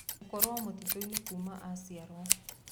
Gũkorwo mũtitũinĩ kuuma aciarwo